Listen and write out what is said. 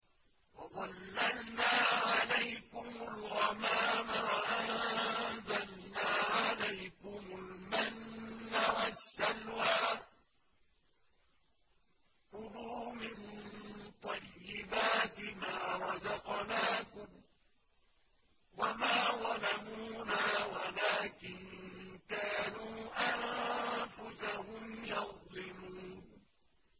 وَظَلَّلْنَا عَلَيْكُمُ الْغَمَامَ وَأَنزَلْنَا عَلَيْكُمُ الْمَنَّ وَالسَّلْوَىٰ ۖ كُلُوا مِن طَيِّبَاتِ مَا رَزَقْنَاكُمْ ۖ وَمَا ظَلَمُونَا وَلَٰكِن كَانُوا أَنفُسَهُمْ يَظْلِمُونَ